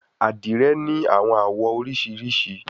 Adire ni awọn awọ oriṣiriṣi